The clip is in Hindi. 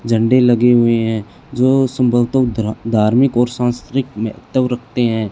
झंडे लगे हुए है जो धार्मिक और सांस्कृतिक रखते हैं।